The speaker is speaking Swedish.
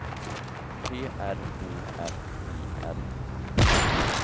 P R O F I L